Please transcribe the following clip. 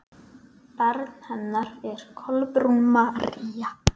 Barn hennar er Kolbrún María.